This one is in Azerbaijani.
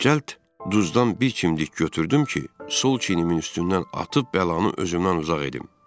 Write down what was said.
Cəld duzdan bir kimlik götürdüm ki, sol çiyrimin üstündən atıb bəlanı özümdən uzaq edim.